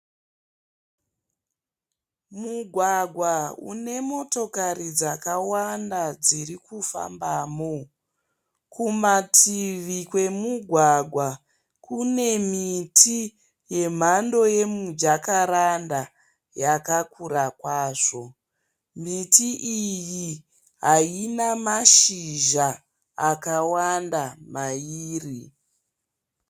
Mugwagwa une motokari dzakawanda dziri kufambamo. Kumativi kwemugwagwa kune miti yemhando yemujakaranda yakakura kwazvo. Miti iyi haina mashizha akawanda mairi.